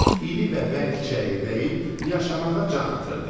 İri və bərk çəyirdəyim yaşamağa can atırdı.